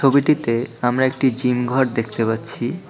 ছবিটিতে আমরা একটি জিম ঘর দেখতে পাচ্ছি।